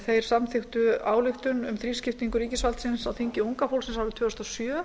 þeir samþykktu ályktun um þrískiptingu ríkisvaldsins á þingi unga fólksins árið tvö þúsund og sjö